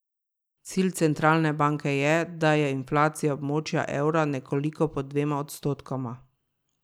Cilj centralne banke je, da je inflacija območja evra nekoliko pod dvema odstotkoma.